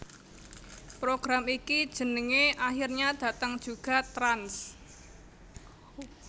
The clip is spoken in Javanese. Program iki jenenge Akhirnya Datang Juga Trans